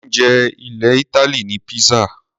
Oúnjẹ ilẹ̀ Ítálì ni pizza.